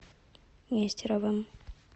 нестеровым